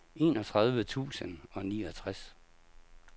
enogtredive tusind og niogtres